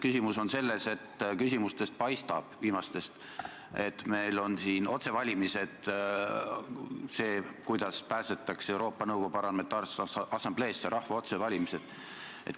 Küsimus on selles, et viimastest küsimustest paistab, et meil on siin otsevalimised, et pääseda Euroopa Nõukogu Parlamentaarsesse Assambleesse, rahva otsevalimised.